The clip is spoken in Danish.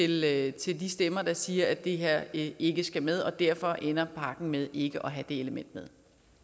lytte til de stemmer der siger at det her ikke skal med og derfor ender pakken med ikke at have det element med